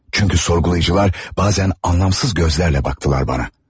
Çünkü sorgulayıcılar bazen anlamsız gözlərlə baktılar bana.